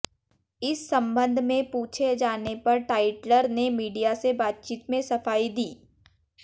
इस संबंध में पूछे जाने पर टाइटलर ने मीडिया से बातचीत में सफाई दी